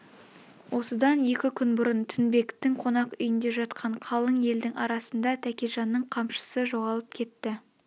осыдан екі күн бұрын тінбектің қонақ үйнде жатқан қалың елдің арасында тәкежанның қамшысы жоғалып кетті